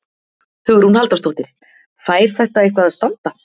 Hugrún Halldórsdóttir: Fær þetta eitthvað að standa?